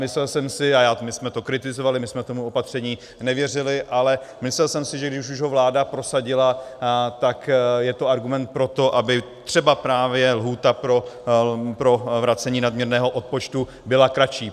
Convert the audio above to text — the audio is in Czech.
Myslel jsem si, a my jsme to kritizovali, my jsme tomu opatření nevěřili, ale myslel jsem si, že když už ho vláda prosadila, tak je to argument pro to, aby třeba právě lhůta pro vracení nadměrného odpočtu byla kratší.